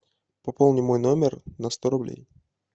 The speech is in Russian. пополни мой номер на сто рублей